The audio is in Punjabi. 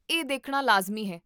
ਇਹ ਦੇਖਣਾ ਲਾਜ਼ਮੀ ਹੈ